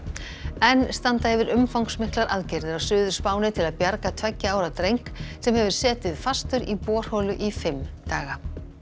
enn standa yfir umfangsmiklar aðgerðir á Suður Spáni til að bjarga tveggja ára dreng sem hefur setið fastur í borholu í fimm daga